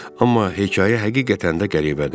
Amma hekayə həqiqətən də qəribədir.